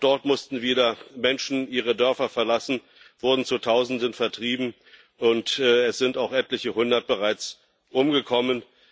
Auch dort mussten wieder Menschen ihre Dörfer verlassen, wurden zu Tausenden vertrieben, und es sind auch bereits etliche Hundert umgekommen.